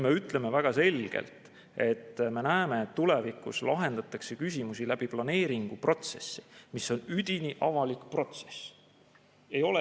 Me ütleme väga selgelt, et me näeme, et tulevikus lahendatakse küsimusi planeeringuprotsessi kaudu, mis on üdini avalik protsess.